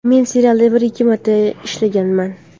Men serialda bir-ikki marta ishlaganman.